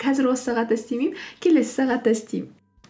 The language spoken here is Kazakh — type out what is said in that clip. қазір осы сағатта істемеймін келесі сағатта істеймін